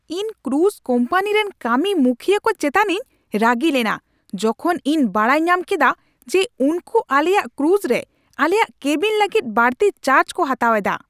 ᱤᱧ cruise company ᱨᱮᱱ ᱠᱟᱹᱢᱤᱼᱢᱩᱠᱷᱤᱭᱟᱹ ᱠᱚ ᱪᱮᱛᱟᱱᱤᱧ ᱨᱟᱹᱜᱤ ᱞᱮᱱᱟ ᱡᱚᱠᱷᱚᱱ ᱤᱧ ᱵᱟᱰᱟᱭ ᱧᱟᱢ ᱠᱮᱫᱟ ᱡᱮ ᱩᱱᱠᱩ ᱟᱞᱮᱭᱟᱜ ᱠᱨᱩᱡᱽᱨᱮ ᱟᱞᱮᱭᱟᱜ ᱠᱮᱵᱤᱱ ᱞᱟᱹᱜᱤᱫ ᱵᱟᱹᱲᱛᱤ ᱪᱟᱨᱡᱽ ᱠᱚ ᱦᱟᱛᱟᱣᱮᱫᱟ ᱾